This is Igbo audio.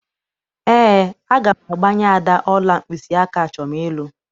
Eé, aga m agbanye Ada ọla mkpịsịaka achọm ịlụ.